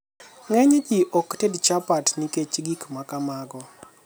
ng'enyji ok ted chapat nikech gik makamago